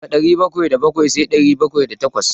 Daga ɗari bakwai da bakwai sai ɗari bakwai da takwas.